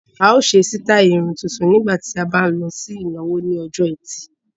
A ó ṣe sítáì irun tuntun nígbà tí a bá ń lọ sí ìnáwó lọ́jọ́ ẹtì